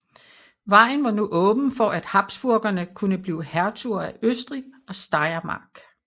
Vejen var nu åben for at habsburgerne kunne blive hertuger af Østrig og Steiermark